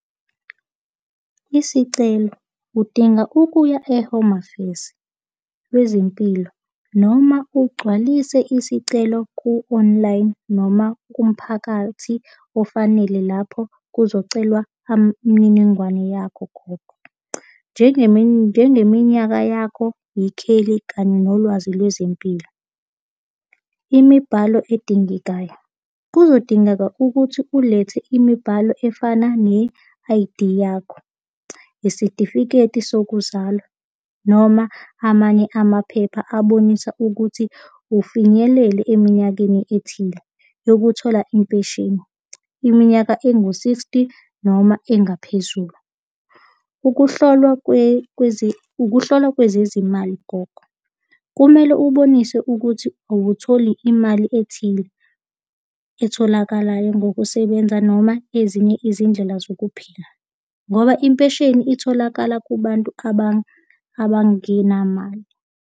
Isicelo. Udinga ukuya e-Home Affairs lwezempilo noma ugcwalise isicelo ku-online noma kumphakathi ofanele lapho kuzocelwa imniningwane yakho khona. Njengeminyaka yakho, ikheli kanye nolwazi lwezempilo. Imibhalo edingekayo. Kuzodingeka ukuthi ulethe imibhalo efana ne-I_D yakho. Isitifiketi sokuzalwa noma amanye amaphepha abonisa ukuthi ufinyelele eminyakeni ethile yokuthola impesheni iminyaka engu-sixty noma engaphezulu. Ukuhlolwa ukuhlolwa kwezezimali gogo. Kumele ubonise ukuthi awutholi imali ethile etholakalayo ngokusebenza noma ezinye izindlela zokuphila, ngoba impesheni itholakala kubantu abangenamali.